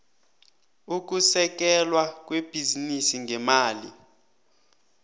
ukusekelwa kwebhizinisi ngemali